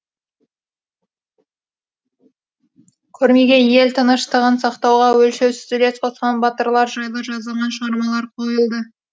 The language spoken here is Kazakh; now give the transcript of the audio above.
көрмеге ел тыныштығын сақтауға өлшеусіз үлес қосқан батырлар жайлы жазылған шығармалар қойылды